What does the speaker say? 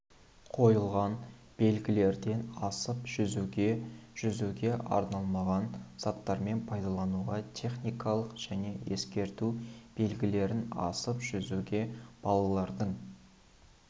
қойылған белгілерден асып жүзуге жүзуге арналмаған заттармен пайдалануға техникалық және ескерту белгілерін асып жүзуге балалардың